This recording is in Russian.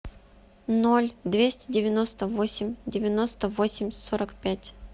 ноль двести девяносто восемь девяносто восемь сорок пять